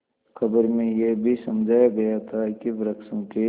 खबर में यह भी समझाया गया था कि वृक्षों के